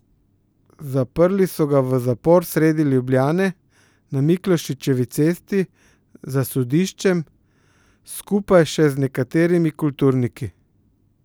Zaprli so ga v zapor sredi Ljubljane, na Miklošičevi cesti, za sodiščem, skupaj še z nekaterimi kulturniki.